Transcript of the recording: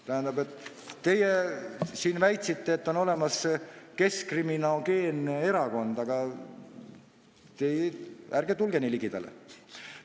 Tähendab, teie siin väitsite, et on olemas keskkriminogeenne erakond, aga ärge tulge nii ligidale!